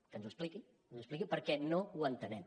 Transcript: que ens ho expliqui que ens ho expliqui perquè no ho entenem